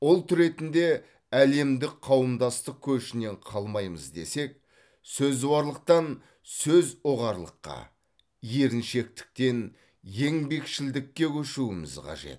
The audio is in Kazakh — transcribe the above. ұлт ретінде әлемдік қауымдастық көшінен қалмаймыз десек сөзуарлықтан сөз ұғарлыққа еріншектіктен еңбекшілдікке көшуіміз қажет